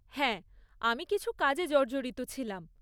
হ্যাঁ, আমি কিছু কাজে জর্জরিত ছিলাম।